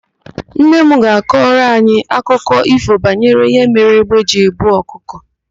Nne m ga-akọrọ anyị akụkọ ífò banyere ihe mere égbé ji ebu ọkụkọ.